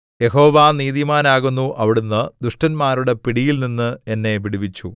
യഹോവ നീതിമാനാകുന്നു അവിടുന്ന് ദുഷ്ടന്മാരുടെ പിടിയില്‍ നിന്ന് എന്നെ വിടുവിച്ചു